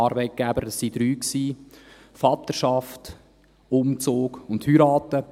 es waren drei: Vaterschaft, Umzug und Heirat.